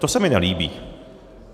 To se mi nelíbí.